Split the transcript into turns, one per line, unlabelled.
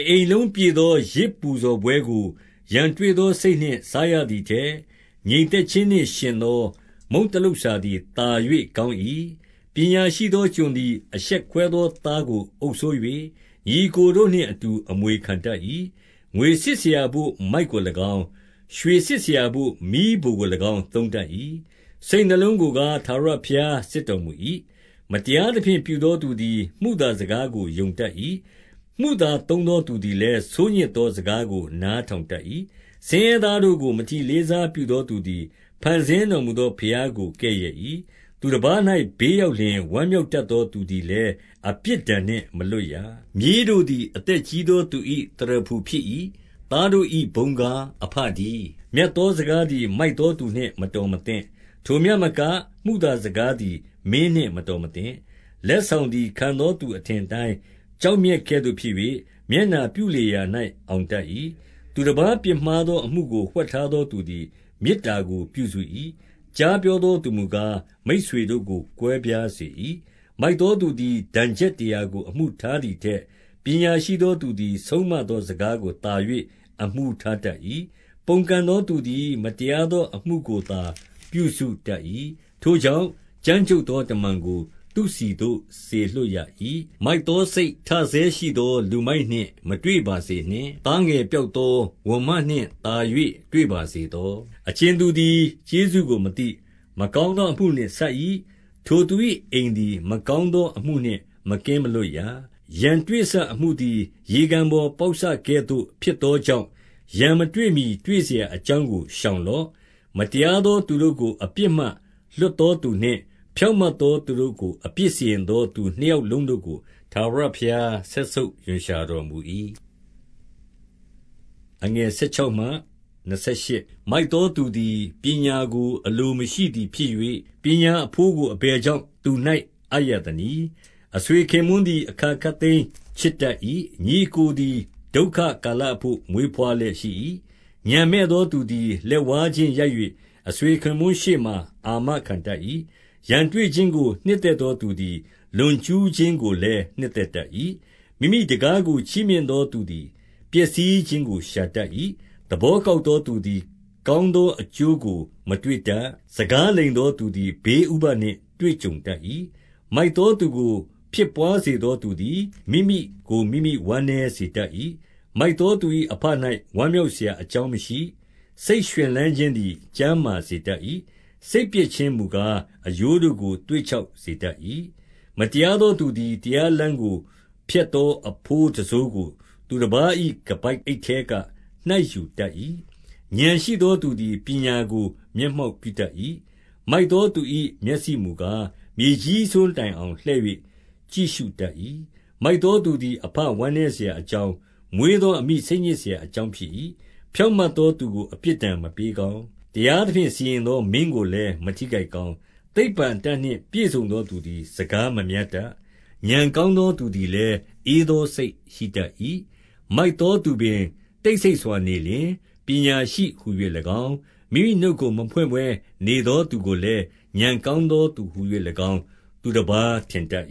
အိမ်လုံးပြည့်သော ယဇ်ပူဇော်ပွဲကို ရန်တွေ့ သော စိတ်နှင့်စားရသည်ထက်၊ ငြိမ်သက်ခြင်းနှင့် ယှဉ် သော မုန့်တလုပ်စာသည်သာ၍ကောင်း၏။ 2 ပညာရှိသောကျွန်သည် အရှက်ခွဲသောသားကို အုပ်စိုး၍ ညီအစ်ကိုတို့နှင့်အတူ အမွေခံတတ်၏။ 3 ငွေစစ်စရာဘို့မိုက်ကို၎င်း၊ ရွှေစစ်စရာဘို့ မီးဖိုကို ၎င်း သုံးတတ်၏။ စိတ်နှလုံးကိုကား၊ ထာဝရဘုရား စစ်တော်မူ၏။ 4 မတရားသဖြင့်ပြုသော သူသည် မုသာစကားကို ယုံတတ်၏။ မုသာသုံးသော သူသည်လည်း ဆိုးညစ်သော စကားကို နားထောင်တတ်၏။ 5 ဆင်းရဲသားတို့ကို မထီလေးစားပြုသော သူသည် ဖန်ဆင်းတော်မူသောဘုရားကိုကဲ့ရဲ့၏။ သူတပါး၌ ဘေး ရောက်လျှင် ဝမ်းမြောက်တတ်သော သူသည်လည်း အပြစ်ဒဏ်နှင့် မလွတ်ရ။ 6 မြေးတို့သည် အသက်ကြီးသောသူ၏ သရဖူဖြစ် ၏။ သားတို့၏ဘုန်းကား အဘတည်း။ 7 မြတ်သောစကားသည် မိုက်သောသူနှင့် မတော် မသင့်။ ထိုမျှမက၊ မုသာစကားသည် မင်းနှင့်မတော် မသင့်။ 8 လက်ဆောင်သည် ခံသောသူအထင်အတိုင်း ကျောက်မြတ်ကဲ့သို့ ဖြစ်၍၊ မျက်နှာပြုလေရာရာ၌ အောင်တတ်၏။ 9 သူတပါးပြစ်မှားသော အမှုကိုဝှက်ထားသော သူသည် မေတ္တာကို ပြုစု၏။ ကြားပြောသောသူမူကား၊ မိတ်ဆွေတို့ကို ကွဲပြားစေ၏။ 10 မိုက်သောသူသည် ဒဏ်ချက်တရာကို အမှုထား သည်ထက်၊ ပညာရှိသောသူသည် ဆုံးမသော စကားကို သာ၍ အမှုထားတတ်၏။ 11 ပုန်ကန်သောသူသည် မတရားသောအမှုကိုသာ ပြုစုတတ်၏။ ထိုကြောင့်ကြမ်းကြုတ်သော တမန်ကို သူ့ဆီသို့စေလွှတ်ရ၏။ လူမိုက်နှင့်မတွေ့ပါ စေနှင့်။ သားငယ်ပျောက်သော ဝံမနှင့်သာ၍ တွေ့ပါစေ သော။ 13 အကြင်သူသည် ကျေးဇူးကိုမသိ၊ မကောင်းသော အမှုနှင့် ဆပ်၏၊ ထိုသူ၏အိမ်သည် မကောင်းသော အမှုနှင့်မကင်းမလွတ်ရ။ 14 ရန်တွေ့စအမှုသည် ရေကန်ပေါင်ပေါက်စကဲ့သို့ ဖြစ်သောကြောင့်၊ ရန်မတွေ့မှီတွေ့စရာ အကြောင်းကို ရှောင်လော့။ 15 မတရားသောသူတို့ကို အပြစ်မှလွှတ်သော သူနှင့်၊ ဖြောင့်မတ်သောသူတို့ကို အပြစ်စီရင်သော သူနှစ်ယောက်လုံးတို့ကို ထာဝရဘုရား စက်ဆုပ်ရွံ့ရှာ တော်မူ၏။ 16 မိုက်သောသူသည် ပညာကိုအလိုမရှိသည် ဖြစ် ၍၊ ပညာအဘိုးကို အဘယ်ကြောင့် သူ၌အပ်ရသနည်း။ 17 အဆွေခင်ပွန်းသည် အခါခပ်သိမ်းချစ်တတ်၏။ ညီအစ်ကိုသည် ဒုက္ခကာလအဘို့ မွေးဘွားလျက်ရှိ၏။ 18 ဥာဏ်မဲ့သောသူသည် လက်ဝါးချင်းရိုက်၍၊ အဆွေ ခင်ပွန်းရှေ့မှာ အာမခံတတ်၏။ 19 ရန်တွေ့ခြင်းကို နှစ်သက်သောသူသည် လွန် ကျူးခြင်းကိုလည်း နှစ်သက်တတ်၏။ မိမိတံခါးကို ချီးမြှင့် သော သူသည် ပျက်စီးခြင်းကို ရှာတတ်၏။ 20 သဘောကောက်သောသူသည် ကောင်းသော အကျိုးကို မတွေ့တတ်။ စကားလိမ်သောသူသည် ဘေး ဥပဒ်နှင့် တွေ့ကြုံတတ်၏။ 21 မိုက်သောသူကို ဖြစ်ဘွားစေသောသူသည် မိမိကို မိမိဝမ်းနည်းစေတတ်၏။ မိုက်သောသူ၏အဘ၌ ဝမ်းမြောက်စရာအကြောင်းမရှိ။ 22 စိတ်ရွှင်လန်းခြင်းသည် ကျန်းမာစေတတ်၏။ စိတ်ပျက်ခြင်းမူကား၊ အရိုးတို့ကိုသွေ့ခြောက်စေတတ်၏။ 23 မတရားသောသူသည် တရားလမ်းကိုဖျက်သော အဘိုးတံစိုးကို သူတပါး၏ ခါးပိုက်အိတ်ထဲက နှိုက်ယူ တတ်၏။ 24 ဥာဏ်ရှိသောသူသည် ပညာကို မျက်မှောက် ပြုတတ်၏။ မိုက်သောသူ၏ မျက်စိမူကား၊ မြေကြီးစွန်း တိုင်အောင်လှည့်၍ ကြည့်ရှုတတ်၏။ 25 မိုက်သော သူသည် အဘဝမ်းနည်းစရာ အကြောင်း၊ မွေးသော အမိစိတ်ညစ်စရာအကြောင်း ဖြစ်၏။ 26 ဖြောင့်မတ်သော သူကို အပြစ်ဒဏ်မပေး ကောင်း။ တရားသဖြင့် စီရင်သော မင်းကိုလည်း မထိခိုက် ကောင်း။ 27 သိပ္ပံအတတ်နှင့်ပြည့်စုံသော သူသည် စကား မများတတ်။ ဥာဏ်ကောင်းသောသူသည်လည်း၊ ဧသော စိတ်ရှိတတ်၏။ 28 မိုက်သောသူပင် တိတ်ဆိတ်စွာနေလျှင် ပညာရှိ ဟူ၍၎င်း၊ မိမိနှုတ်ကိုမဖွင့်ဘဲ နေသောသူကို လည်း၊ ဥာဏ်ကောင်းသောသူဟူ၍၎င်းသူတပါး ထင်တတ်